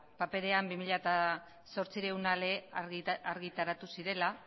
paperean bi mila zortziehun ale argitaratu zirela